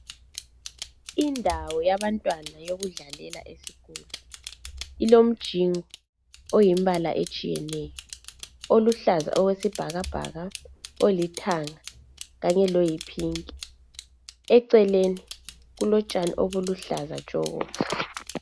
Indawo yabantwana yokudlalela esikolo . Ilomjingo oyimbala etshiyeneyo, oluhlaza okwesibhakabhaka , olithanga kanye loyiphinki. Eceleni kulotshani obuluhlaza tshoko .